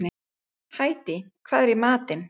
Hædý, hvað er í matinn?